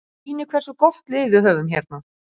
Það sýnir hversu gott lið við höfum hérna.